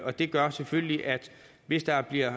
og det gør selvfølgelig at hvis der bliver